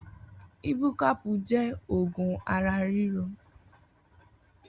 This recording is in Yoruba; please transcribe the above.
Ibúkàpú jẹ̀ ógùn àrá rìró